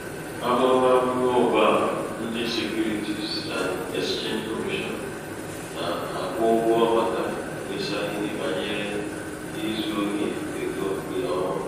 amụ̀mà amụ̀mà ọ̀gbaàmà ndị securities and exchange commission nà-àkwụ ụgwọ̄ màkà ikpēsā ihe bànyere izū ohī egō ṅ̀kè ọma